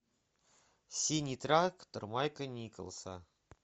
синий трактор майка николса